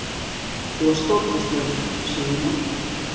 Þú varst stórkostlegur, segir hún.